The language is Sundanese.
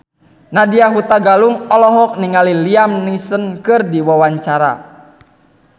Nadya Hutagalung olohok ningali Liam Neeson keur diwawancara